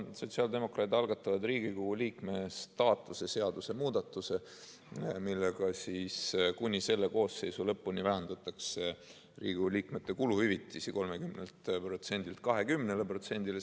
Sotsiaaldemokraadid algatavad Riigikogu liikme staatuse seaduse muudatuse, millega kuni selle koosseisu lõpuni vähendataks Riigikogu liikmete kuluhüvitisi 30%-lt 20%-le.